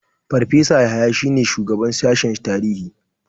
Farfesa Yahaya shine shugaban sashen tarihi.